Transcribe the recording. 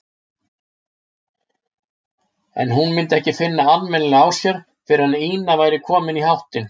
En hún myndi ekki finna almennilega á sér fyrr en Ína væri komin í háttinn.